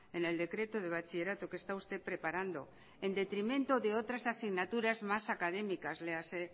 en el decreto de bachillerato que está usted preparando en detrimento de otras asignaturas más académicas léase